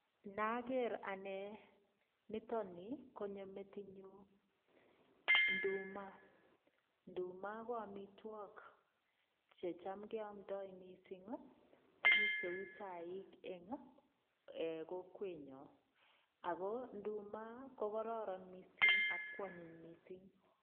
Naager anne nitok ni, konyo metinyu nduma. Nduma ko amitwog checham keamndo mising tuguk cheu chaik eng ee kokwenyo. Ago nduma kokororon mising ak kwonyiny mising.